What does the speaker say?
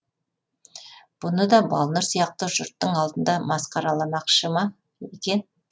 бұны да балнұр сияқты жұрттың алдында масқараламақша ма екен